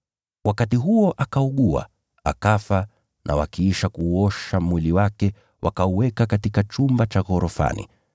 Wakati huo akaugua, akafa na wakiisha kuuosha mwili wake wakauweka katika chumba cha ghorofani.